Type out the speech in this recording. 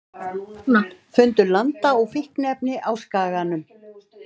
Fundu landa og fíkniefni á Skaganum